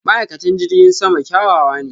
ma'aikatan jirgin sama kyawawa ne.